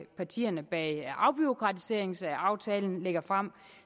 partierne bag afbureaukratiseringsaftalen lægger frem